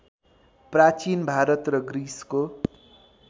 प्रचीन भारत र ग्रिसको